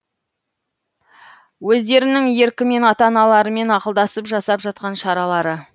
өздерінің еркімен ата аналарымен ақылдасып жасап жатқан шаралары